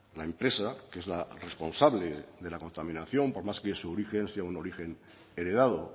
la empresa que es la responsable de la contaminación por más que su origen sea un origen heredado